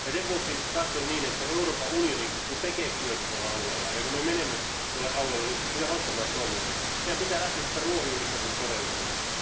Sen vuoksi katson niin, että kun Euroopan unioni tekee työtä tuolla alueella ja kun me menemme tuolle alueelle tehostamaan toimiamme, meidän pitää lähteä sieltä ruohonjuuritason todellisuudesta.